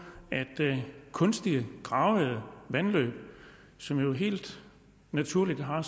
at kunstige gravede vandløb som jo helt naturligt har